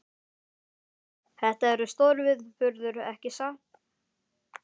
Una, þetta er stórviðburður, ekki satt?